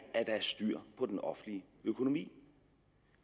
styr på den offentlige økonomi